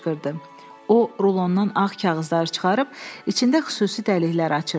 O rulondan ağ kağızları çıxarıb içində xüsusi dəliklər açırdı.